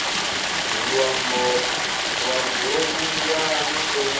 luambo lwo vhumbwa na u